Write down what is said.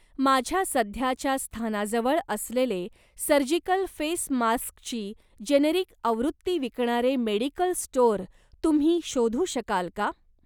माझ्या सध्याच्या स्थानाजवळ असलेले सर्जिकल फेस मास्क ची जेनेरिक आवृत्ती विकणारे मेडिकल स्टोअर तुम्ही शोधू शकाल का?